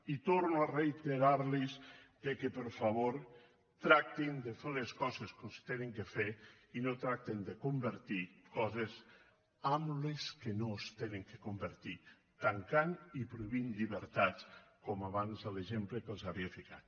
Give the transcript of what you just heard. i torno a reiterar los que per favor tractin de fer les coses com s’han de fer i no tractin de convertir coses en el que no s’han de convertir tancant i prohibint llibertats com abans l’exemple que els havia ficat